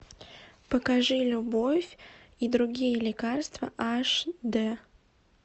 покажи любовь и другие лекарства аш дэ